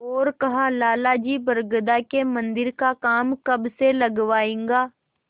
और कहालाला जी बरगदा के मन्दिर का काम कब से लगवाइएगा